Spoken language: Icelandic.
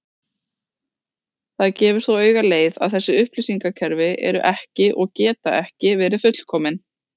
Það gefur þó auga leið að þessi upplýsingakerfi eru ekki og geta ekki verið fullkomin.